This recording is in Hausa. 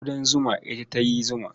Ƙudan zuma ita ta yi zuma.